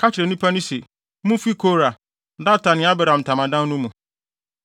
“Ka kyerɛ nnipa no se, ‘Mumfi Kora, Datan ne Abiram ntamadan no mu.’ ”